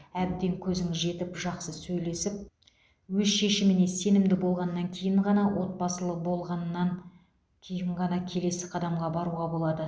әбден көзіңіз жетіп жақсы сөйлесіп өз шешіміне сенімді болғаннан кейін ғана отбасылы болғаннан кейін ғана келесі қадамға баруға болады